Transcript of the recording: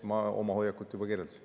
Ma oma hoiakut juba kirjeldasin.